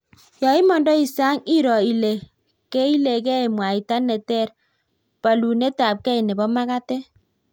Yoimondoi sang iro ilo keilegei mwaita neter palunetabge nebo magatet